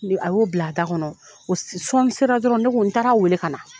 a y'o bila a da kɔnɔ o sɔɔni sera dɔrɔn ne ko n taara weele ka na.